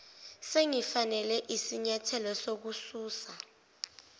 singafanele isinyathelo sokususa